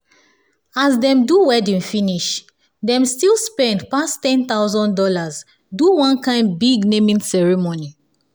as dem do wedding finish dem still spend pass one thousand dollars0 do one kind big naming ceremony